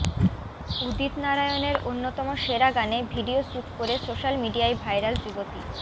উদিত নারায়ণের অন্যতম সেরা গানে ভিডিও শ্যুট করে সোশ্যাল মিডিয়ায় ভাইরাল যুবতী